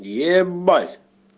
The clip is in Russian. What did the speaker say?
ебать